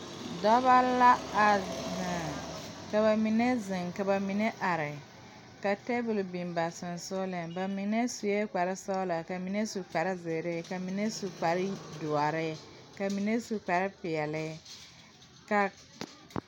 Dɔbɔ la a zeŋ ka ba mine zeŋ ka ba mine are ka tabole biŋ ba seŋsugliŋ ba mine suee kparesɔglɔ ka mine su kparezeere ka mine su kparedoɔre ka mine su kparepeɛle ka.